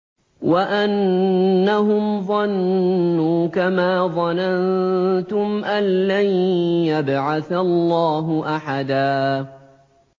وَأَنَّهُمْ ظَنُّوا كَمَا ظَنَنتُمْ أَن لَّن يَبْعَثَ اللَّهُ أَحَدًا